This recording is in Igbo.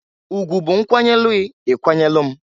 Ugwụ bụ nkwanyelugh i ikwanyelu m.